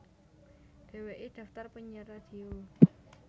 Dheweke daftar penyiar radio